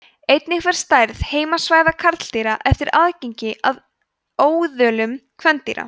einnig fer stærð heimasvæða karldýra eftir aðgengi að óðölum kvendýra